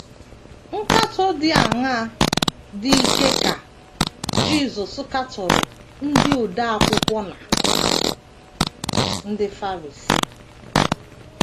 Nkatọ dị aṅaa dị ike ka Jisọs katọrọ ndị odeakwụkwọ na ndị Farisii?